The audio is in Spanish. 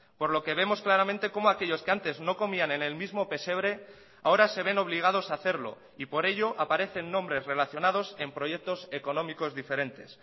por lo que vemos claramente como aquellos que antes no comían en el mismo pesebre ahora se ven obligados a hacerlo y por ello aparecen nombres relacionados en proyectos económicos diferentes